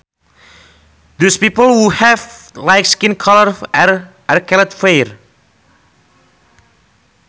Those people who have light skin color are called fair